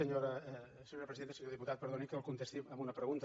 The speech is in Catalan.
senyor diputat perdoni que el contesti amb una pregunta